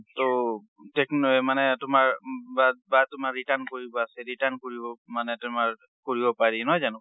ট tech~ মানে তোমাৰ বা বা~ তোমাৰ return কৰিব আছে, return কৰিব মানে তোমাৰ কৰিব পাৰি, নহয় জানো?